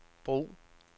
brug